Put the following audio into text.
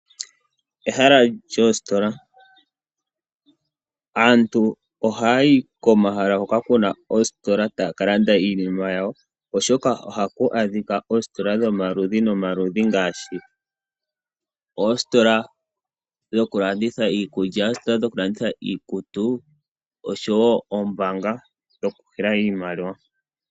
Ehala lyoositola Aantu ohaya yi komahala hoka ku na oositola taya ka landa iinima yawo, oshoka ohaku adhika oositola dhomaludhi nomaludhi ngaashi oositola dhokulanditha iikulya, oositola dhokulanditha iikutu nosho wo oombaanga dhokunana iimaliwa.